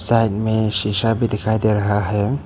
Side में शीशा भी दिखाई दे रहा है।